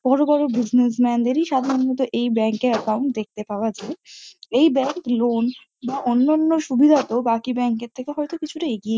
বড়ো বড়ো বিসনেসম্যান দেরই সাধারণত এই ব্যাঙ্ক এ একাউন্ট দেখতে পাওয়া যায়। এই ব্যাঙ্ক লোন বা অন্যান্য সুবিধাতো বাকি ব্যাঙ্ক এর থেকে হয়তো কিছুটা এগিয়ে।